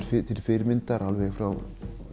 til fyrirmyndar alveg frá